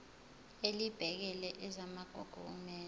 elibhekele ezamagugu kumele